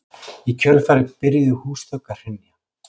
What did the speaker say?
Í kjölfarið byrjuðu húsþök að hrynja